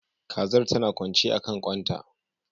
Kazar tana kwance akan kwan ta